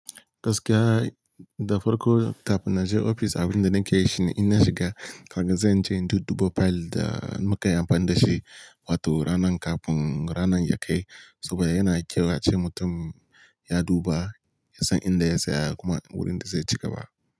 Gaskiya da farko tap na je ofis abin da nake yi shine in na shiga, karga zan je in duɗuba fayil da muka yi amfani da shi, wato ranan kafin ranan ya kai. Saboda yana kyau a ce mutum ya duba, ya san inda ya saya kuma wurin da zai ci gaba.